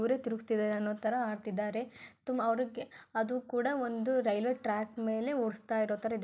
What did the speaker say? ಅವರೆ ತಿರುಗುಸ್ತಿದರೆ ಅನ್ನೊ ತರ ಆಡುತಿದರೆ ತುಂಬಾ ಅವರಿಗೆ ಅದು ಕೂಡ ಒಂದು ರೈಲ್ವೆ ಟ್ರಾಕ್ ಮೇಲೆ ಹೋಡುಸ್ತಇರೊ ತರ ಇದೆ.